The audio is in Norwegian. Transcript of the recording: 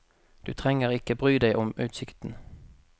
Du trenger ikke bry deg om utsikten.